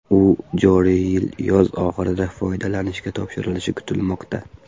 U joriy yil yoz oxirida foydalanishga topshirilishi kutilmoqda.